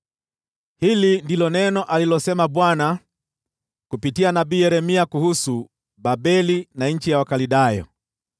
Hili ndilo neno alilosema Bwana kupitia nabii Yeremia kuhusu Babeli na nchi ya Wakaldayo: